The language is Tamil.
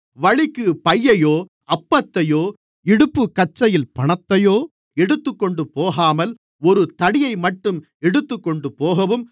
வழிக்குப் பையையோ அப்பத்தையோ இடுப்புக் கச்சையில் பணத்தையோ எடுத்துக்கொண்டுபோகாமல் ஒரு தடியைமட்டும் எடுத்துக்கொண்டுபோகவும்